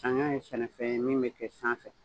ye sɛnɛfɛn ye min me kɛ sanfɛ